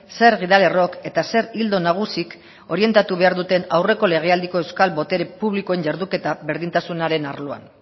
zer gidalerrok eta zer ildo nagusik orientatu behar duten aurreko legealdiko euskal botere publikoen jarduketa berdintasunaren arloan